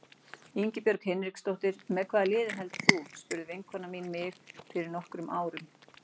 Ingibjörg Hinriksdóttir Með hvaða liði heldur þú? spurði vinkona mín mig fyrir nokkrum árum.